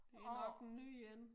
Det nok en ny én